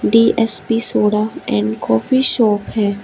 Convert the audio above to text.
D S P soda and coffee shop है।